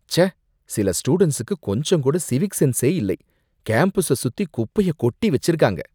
ச்சே, சில ஸ்டூடண்ட்ஸுக்கு கொஞ்சம்கூட சிவிக் சென்ஸே இல்லை, கேம்பஸ சுத்தி குப்பைய கொட்டி வச்சிருக்காங்க.